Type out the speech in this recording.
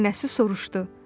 Nənəsi soruşdu: